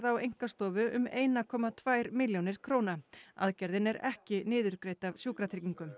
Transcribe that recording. á einkastofu um ein komma tvær milljónir króna aðgerðin er ekki niðurgreidd af Sjúkratryggingum